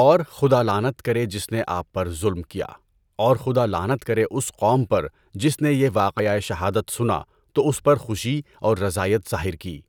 اور خدا لعنت کرے جس نے آپ پر ظلم کیا اور خدا لعنت کرے اس قوم پر جس نے یہ واقعہ شہادت سنا تو اس پر خوشی و رضایت ظاہر کی۔